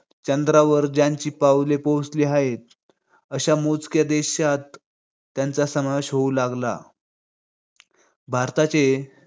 चंद्रावर ज्यांची पावले पोहोचली आहेत, अशा मोजक्या देशांत त्याचा समावेश होऊ लागला. भारताचे